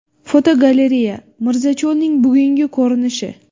Fotogalereya: Mirzacho‘lning bugungi ko‘rinishi.